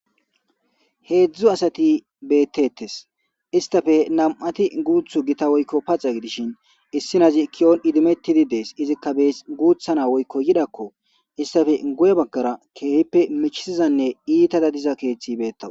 Hezdu asati betetes istape nam'ati gutiyo gita woyko pac'a gidishin issi nazi kiyon idimetidi dees izika best guta na'a woyko yirako istape guye bagara kehipe michizane itara diza kethi betawus.